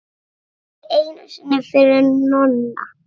Ekki einu sinni fyrir Nonna.